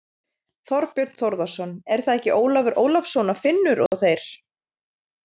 Þorbjörn Þórðarson: Er það ekki Ólafur Ólafsson og Finnur og þeir?